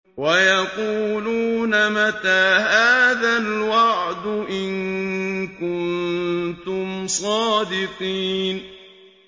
وَيَقُولُونَ مَتَىٰ هَٰذَا الْوَعْدُ إِن كُنتُمْ صَادِقِينَ